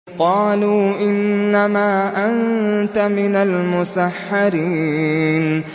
قَالُوا إِنَّمَا أَنتَ مِنَ الْمُسَحَّرِينَ